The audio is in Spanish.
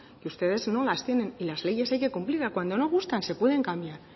que ustedes no las tienen y las leyes hay que cumplirlas cuando no gustan se pueden cambiar